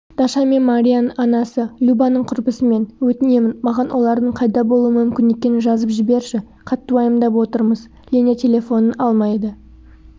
даша мен марияның анасы любаның құрбысымын өтінемін маған олардың қайда болуы мүмкін екенін жазып жіберші қатты уайымдап отырмыз леня телефонын алмайды